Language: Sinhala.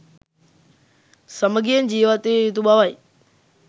සමගියෙන් ජිවත්විය යුතු බවයි